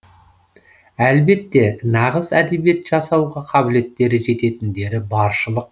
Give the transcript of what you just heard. әлбетте нағыз әдебиет жасауға қабілеттері жететіндері баршылық